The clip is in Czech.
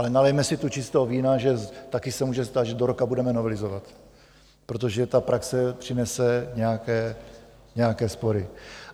Ale nalejme si tu čistého vína, že taky se může stát, že do roka budeme novelizovat, protože ta praxe přinese nějaké spory.